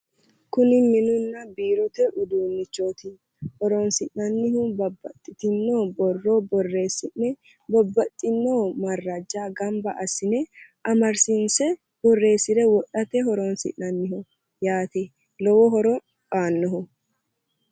kuni minunna biirote uduunnichooti horonsi'nannihu babbaxxitino borro borreessi'ne babbaxxino marrajja gamba assine amadisiisse borreessi'ne wodhate lowo horo aannoho.